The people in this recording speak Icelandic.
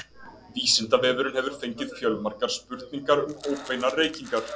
vísindavefurinn hefur fengið fjölmargar spurningar um óbeinar reykingar